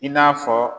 I n'a fɔ